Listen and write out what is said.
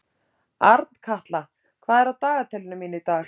Arnkatla, hvað er á dagatalinu mínu í dag?